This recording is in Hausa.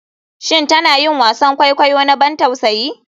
Shin tana yin wasan kwaikwayo na ban tausayi?